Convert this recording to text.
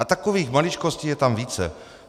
A takových maličkostí je tam více.